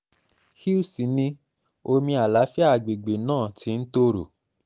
hughes ni omi àlàáfíà àgbègbè náà ti ń tòrò